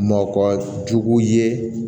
Mɔkɔ jugu ye